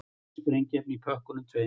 Sprengiefni í pökkunum tveimur